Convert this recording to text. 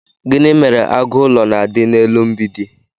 gini mere agu ulo na'di n'elu mb͕idi?